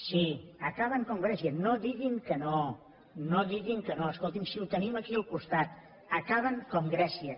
sí acaben com grècia no diguin que no no diguin que no escoltin si ho tenim aquí al costat acaben com grècia